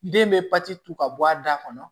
Den bɛ papiye to ka bɔ a da kɔnɔ